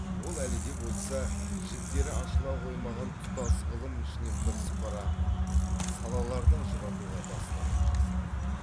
ол әлі де болса жіктері ашыла қоймаған тұтас ғылым ішінен бірсыпыра салаларды ажыратуға бастама жасады